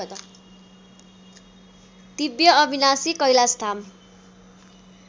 दिव्य अविनाशी कैलाशधाम